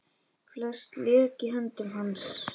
Flest lék í höndum hans.